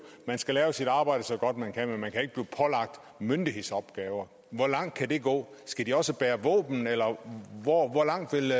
at man skal gøre sit arbejde så godt man kan men man kan ikke blive pålagt myndighedsopgaver hvor langt kan det gå skal de også bære våben eller hvor langt vil